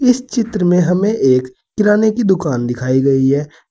इस चित्र में हमें एक किराने की दुकान दिखाई गई है।